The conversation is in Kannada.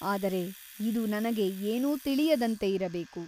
ಆದರೆ ಇದು ನನಗೆ ಏನೂ ತಿಳಿಯದಂತೆ ಇರಬೇಕು.